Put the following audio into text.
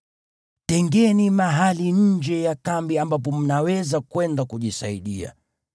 Tengeni mahali nje ya kambi ambapo mnaweza kwenda kujisaidia.